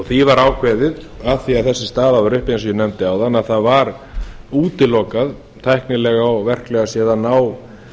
því var ákveðið af því þessi staða var uppi eins og ég nefndi áðan að það var útilokað tæknilega og verklega séð að ná